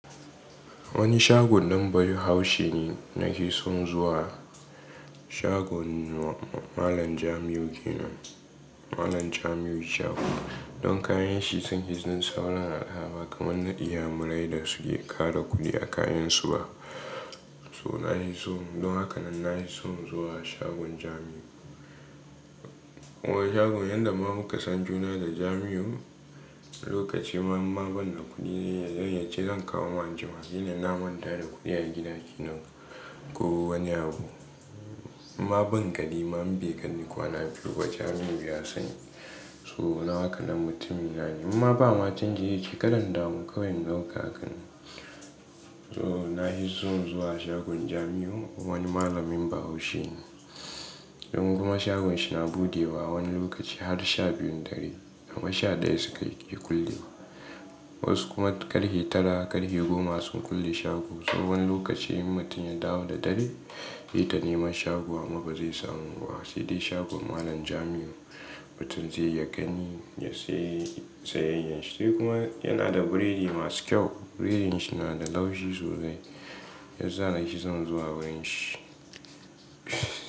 Wani shagon ɗan Bahaushe ne nake son zuwa. Shagon malam Jamiu yake nan. Malam Jamiu shagon don kayan shi sun yi jin saurin alawa kamar na Inyamurai da suke ƙara kuɗi a kayansu ba. So nake so, don haka nan na yi son zuwa shagon Jamiu. Zuwa shagon yanda ma muka san juna da Jamiu, lokaci ma ban da kuɗi zai yace zan kawo wa jima. Sai dai na manta da kuɗi a gida ke nan ko wani abu. Ma ban gani, ma ban ga ni kuwa na biyu ba Jamiu ya sani. So na haka nan mutumin na ne. Ma ba ma cin giki yake ƙararrawar kayan nan kakan. So na yi son zuwa shagon Jamiu wani malamin Bahaushe ne. Don kuma shagon shi na buɗewa wani lokaci har sha biyun dare, amma sha ɗaya suke kulle. Wasu kuma ƙarfe tara, ƙarfe goma sun kulle shago. So wani lokaci mutum ya dawo da dare, ya tana min shago amma ba zai samu ba. Sai dai shagon malam Jamiu mutum zai ya gani ya sayi sayayyar shi. Sai kuma yana da biredi masu kyau, biredin shi na da laushi sosai. Yanzu yana yi son zuwa wurin shi.